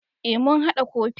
E mu hada kofi.